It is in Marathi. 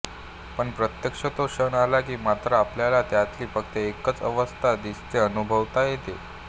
पण प्रत्यक्ष तो क्षण आला कि मात्र आपल्याला त्यातली फक्त एकच अवस्था दिसतेअनुभवता येते